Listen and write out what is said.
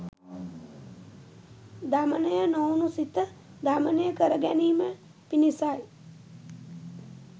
දමනය නොවුණු සිත දමනය කරගැනීම පිණිසයි.